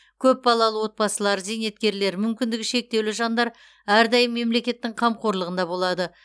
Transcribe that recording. көп балалы отбасылар зейнеткерлер мүмкіндігі шектеулі жандар әрдайым мемлекеттің қамқорлығында болады